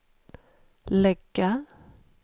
lägga